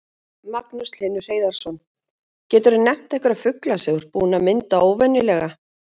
Magnús Hlynur Hreiðarsson: Geturðu nefnt einhverja fugla sem þú ert búinn að mynda óvenjulega?